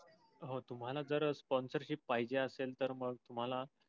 हा तुम्हाला जर sponcership पाहिजे असेल तर मग तुम्हाला.